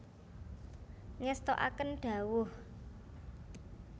Ngestoaken dhawuh